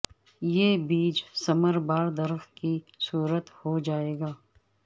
یہ بیج ثمربار درخت کی صورت ہو جائے گا